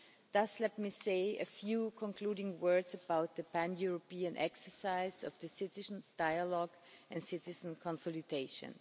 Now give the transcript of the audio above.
Thus, let me say a few concluding words about the pan European exercise of the citizens' dialogue and citizens' consultations.